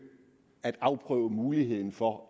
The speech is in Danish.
at afprøve muligheden for